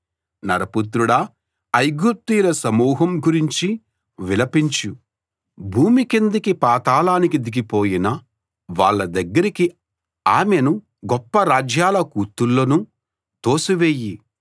నరపుత్రుడా ఐగుప్తీయుల సమూహం గురించి విలపించు భూమి కిందికి పాతాళానికి దిగిపోయిన వాళ్ళ దగ్గరికి ఆమెనూ గొప్ప రాజ్యాల కూతుళ్ళనూ తోసి వెయ్యి